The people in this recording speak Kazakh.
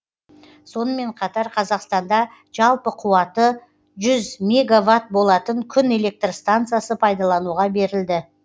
сонымен қатар қазақстанда жалпы қуаты жүз мегават болатын күн электр станциясы пайдалануға берілді